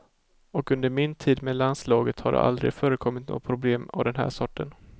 Och under min tid med landslaget har det aldrig förekommit några problem av den här sorten.